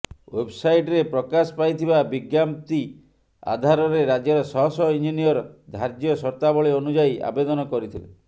ଓ୍ବବ୍ସାଇଟ୍ରେ ପ୍ରକାଶ ପାଇଥିବା ବିଜ୍ଞପ୍ତି ଆଧାରରେ ରାଜ୍ୟର ଶହ ଶହ ଇଞ୍ଜିନିୟର ଧାର୍ଯ୍ୟ ସର୍ତ୍ତାବଳୀ ଅନୁଯାୟୀ ଆବେଦନ କରିଥିଲେ